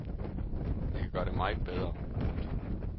Jeg kan gøre det meget bedre. punktum